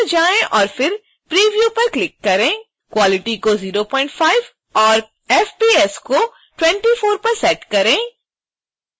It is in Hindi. quality को 05 पर और fps को 24 पर सेट करें